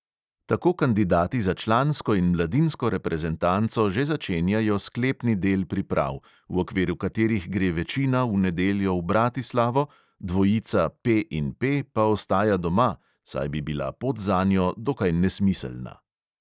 Tako kandidati za člansko in mladinsko reprezentanco že začenjajo sklepni del priprav, v okviru katerih gre večina v nedeljo v bratislavo, dvojica P in P pa ostaja doma, saj bi bila pot zanjo dokaj nesmiselna.